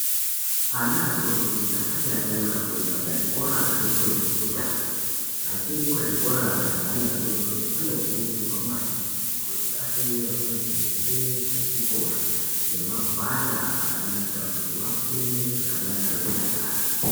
Ana adodori asati atanga kuenda kuzvikora zvefundo yekutanga achiri kuzvikora zveana adodori anokurudzirwa maningi kuti vatengerwe hembe dzechikora nemagwada akanaka kuti vafunde vechidakara.